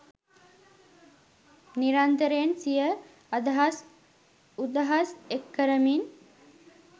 නිරන්තරයෙන් සිය අදහස් උදහස් එක්කරමින්